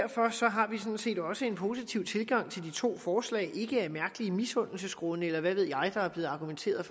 har vi sådan set også en positiv tilgang til de to forslag ikke af mærkelige misundelsesgrunde eller hvad ved jeg der er blevet argumenteret